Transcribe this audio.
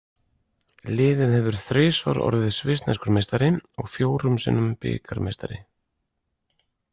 Liðið hefur þrisvar orðið svissneskur meistari og fjórum sinnum bikarmeistari.